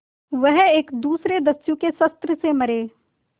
वह एक दूसरे दस्यु के शस्त्र से मरे